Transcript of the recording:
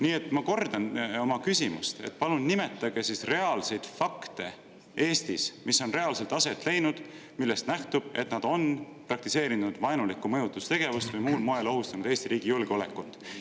Nii et ma kordan oma küsimust: palun nimetage reaalseid fakte, mis on Eestis reaalselt aset leidnud ja millest nähtub, et nad on praktiseerinud vaenulikku mõjutustegevust või muul moel ohustanud Eesti riigi julgeolekut.